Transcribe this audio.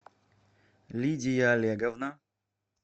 лидия олеговна